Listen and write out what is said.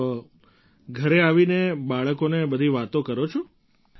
તો ઘર આવીને બાળકોને બધી વાતો કરો છો તમે